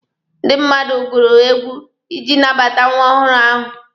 Ndị mmadụ gụrụ egwu iji nabata nwa ọhụrụ ahụ.